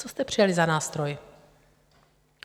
Co jste přijali za nástroj?